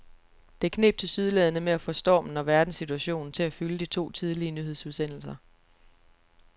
Det kneb tilsyneladende med at få stormen og verdenssituationen til at fylde de to tidlige nyhedsudsendelser.